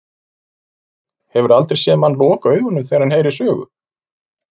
Ísbjörg, hefurðu aldrei séð mann loka augunum þegar hann heyrir sögu?